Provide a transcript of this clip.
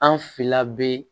An fila bɛ